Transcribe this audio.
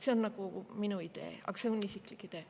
See on minu idee, see on mu isiklik idee.